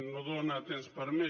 no dóna temps per a més